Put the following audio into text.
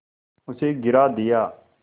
उसे गिरा दिया